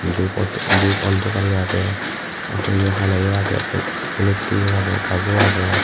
dup auto dup alto gari agey auto yo hala yo agey el olotte yo agey gaj o agey.